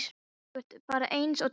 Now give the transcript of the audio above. Þú ert bara eins og tölva!